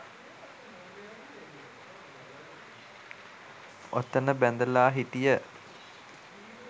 ඔතන බැඳලා හිටිය